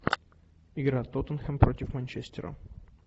игра тоттенхэм против манчестера